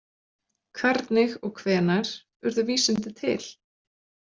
Hvernig og hvenær urðu vísindi til?